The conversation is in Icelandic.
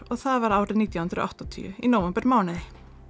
og það var árið nítján hundruð og áttatíu í nóvembermánuði